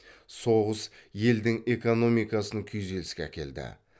соғыс елдің экономикасын күйзеліске әкелді